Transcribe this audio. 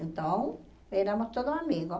Então, éramos todos amigos.